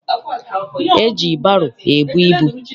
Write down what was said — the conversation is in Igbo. E ji baro ebu ibu.